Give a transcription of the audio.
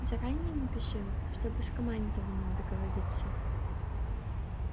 заранее напиши чтобы с командованием договориться